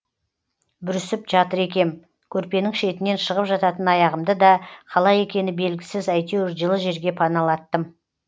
бүрісіп жатыр екем көрпенің шетінен шығып жататын аяғымды да қалай екені белгісіз әйтеуір жылы жерге паналаттым